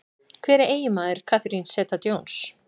Hver er eiginmaður Catherine Zeta-Jones?